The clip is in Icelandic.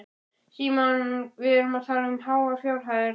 Símon: Við erum því að tala um háar fjárhæðir?